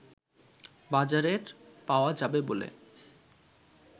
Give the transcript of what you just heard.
বাজারের পাওয়া যাবে বলে